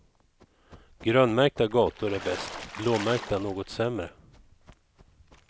Grönmärkta gator är bäst, blåmärkta något sämre.